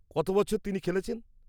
-কত বছর তিনি খেলেছেন?